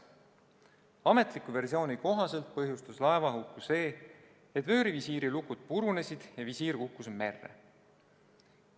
Ametliku versiooni kohaselt põhjustas laevahuku see, et vöörivisiiri lukud purunesid ja visiir kukkus merre.